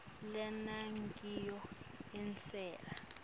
lena ngiyo inselela